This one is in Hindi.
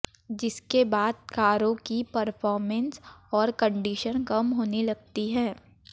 जिसके बाद कारों की परफॉर्मेंस और कंडीशन कम होने लगती है